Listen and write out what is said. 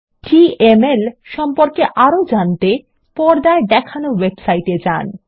DML সম্পর্কে আরো জানতে পর্দায় দেখানো ওয়েবসাইট এ যান